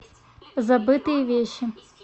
забытые вещи